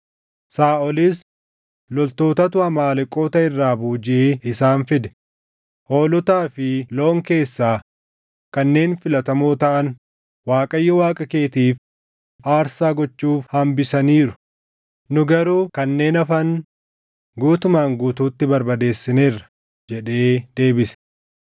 Saaʼolis, “Loltootatu Amaaleqoota irraa boojiʼee isaan fide; hoolotaa fi loon keessaa kanneen filatamoo taʼan Waaqayyo Waaqa keetiif aarsaa gochuuf hambisaniiru; nu garuu kanneen hafan guutumaan guutuutti barbadeessineerra” jedhee deebise.